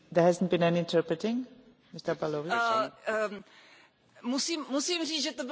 Musím říct, že to bylo velmi vtipné, protože tlumočení, i když tady byl český kanál, tak bylo ve španělštině.